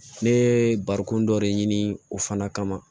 Ne ye barikon dɔ de ɲini o fana kama